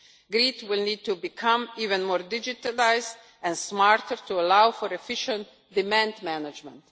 Grids will need to become even more digitalised and smarter, to allow for efficient demand management.